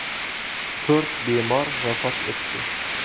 To‘rt bemor vafot etdi.